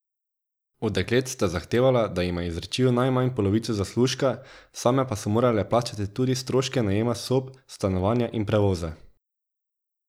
Od deklet sta zahtevala, da jima izročijo najmanj polovico zaslužka, same pa so morale plačati tudi stroške najema sob, stanovanja in prevoza.